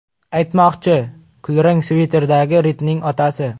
Aytmoqchi, kulrang sviterdagi Ridning otasi.